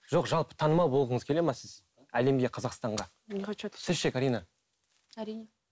жоқ жалпы танымал болғыңыз келеді ме сіз әлемге қазақстанға сіз ше карина әрине